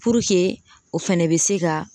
Puruke o fɛnɛ bɛ se ka